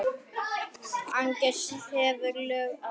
Agnes hefur lög að mæla.